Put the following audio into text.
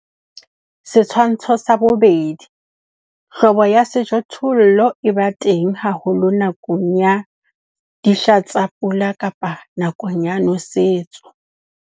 Setshwantsho sa 2. Hlobo ya sejothollo e ba teng haholo nakong ya dihla tsa pula kapa nakong ya nosetso.